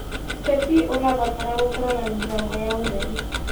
ũteti ũrabatara gũkorwo na mĩbango ya ũtheri.